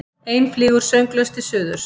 Ein flýgur sönglaus til suðurs.